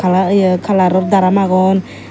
aa yeo kalaro daram agon.